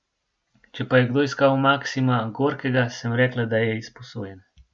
Če pa je kdo iskal Maksima Gorkega, sem rekla, da je izposojen.